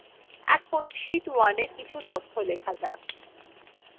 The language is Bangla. এখন sheet 1এ কিছু তথ্য লেখা যাক